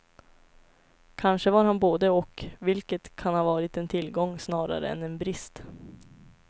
Kanske var han både och, vilket kan ha varit en tillgång snarare än en brist.